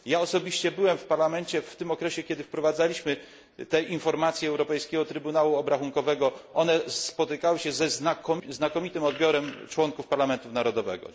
Ja osobiście byłem w parlamencie w tym okresie, kiedy wprowadzaliśmy te informacje Europejskiego Trybunału Obrachunkowego, one spotykały się ze znakomitym odbiorem członków parlamentu narodowego.